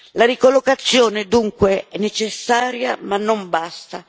La ricollocazione, dunque, è necessaria ma non basta.